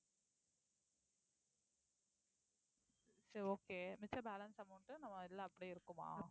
சரி okay மிச்ச balance amount நம்ம இதுல அப்படியே இருக்குமா